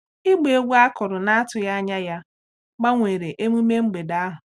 Igba egwu akụrụ na atughi anya ya gbanwere emume mgbede ahụ.